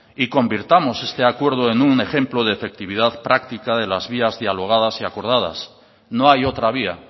y convirtamos este acuerdo en un ejemplo de efectividad práctica de las vías dialogadas y acordadas no hay otra vía